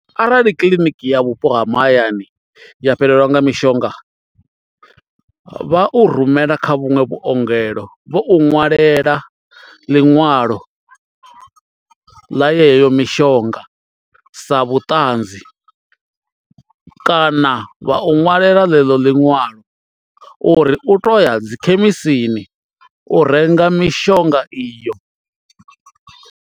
Arali kiḽiniki ya vhupo ha mahayani ya fhelelwa nga mishonga vha u rumela kha vhuṅwe vhuongelo vho u ṅwalela ḽiṅwalo ḽa yeyo mishonga sa vhuṱanzi kana vha u ṅwalela ḽeḽo liṅwalo uri u to ya dzi khemisini u renga mishonga iyo.